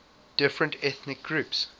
different ethnic groups